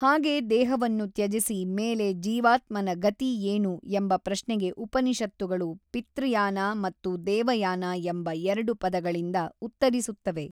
ಹಾಗೆ ದೇಹವನ್ನು ತ್ಯಜಿಸಿ ಮೇಲೆ ಜೀವಾತ್ಮನ ಗತಿ ಏನು ಎಂಬ ಪ್ರಶ್ನೆಗೆ ಉಪನಿಷತ್ತುಗಳು ಪಿತೃಯಾನ ಮತ್ತು ದೇವಯಾನ ಎಂಬ ಎರಡು ಪದಗಳಿಂದ ಉತ್ತರಿಸುತ್ತವೆ.